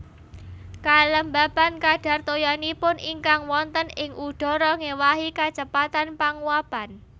Kalembapan kadhar toyanipun ingkang wonten ing udhara ngéwahi kacepetan panguwapan